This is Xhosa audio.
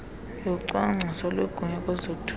yocwangcwiso lwegunya kwezothutho